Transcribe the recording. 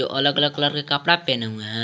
और अलग अलग कलर के कपड़ा पहने हुए हैं।